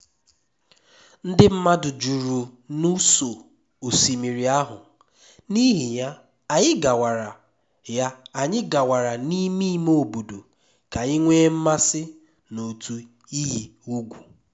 ndị mmadụ juru n’ụsọ osimiri ahụ n’ihi ya anyị gawara ya anyị gawara n’ime ime obodo ka anyị nwee mmasị n’otu iyi ugwu